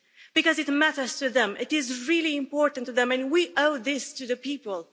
Because it matters to them, it is really important to them and we owe this to the people.